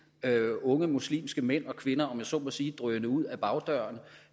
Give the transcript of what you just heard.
unge muslimske mænd og kvinder om jeg så må sige drøne ud ad bagdøren og